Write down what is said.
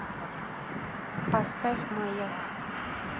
поставь маяк